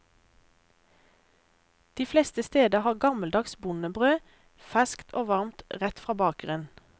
De fleste steder har gammeldags bondebrød, ferskt og varmt rett fra bakeren.